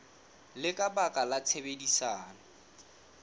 le ka baka la tshebedisano